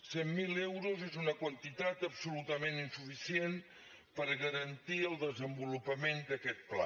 cent mil euros és una quantitat absolutament insuficient per garantir el desenvolupament d’aquest pla